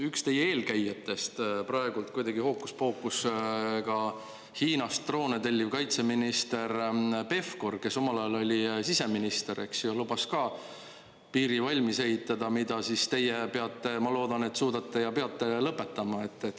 Üks teie eelkäijatest, praegu kuidagi hookuspookusega Hiinast droone telliv kaitseminister Pevkur, kes omal ajal oli siseminister, lubas ka piiri valmis ehitada, mida teie peate, ma loodan, et suudate, lõpetama.